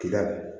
Kida